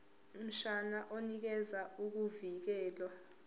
mshwana unikeza ukuvikelwa